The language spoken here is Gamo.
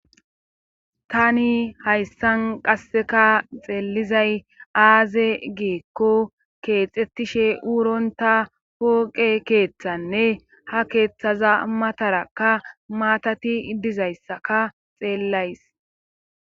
tani hayssan qassika xeelizay aaze giikko keexettishe wurontta pooqe keethanne ha keethaza matarakka maatati dizayssaka xeellays.